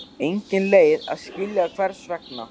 Engin leið að skilja hvers vegna.